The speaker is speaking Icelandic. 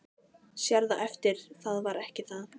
Sérð á eftir það var ekki það.